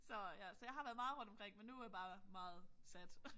Så ja så jeg har været meget rundt omkring men nu øh bare meget sat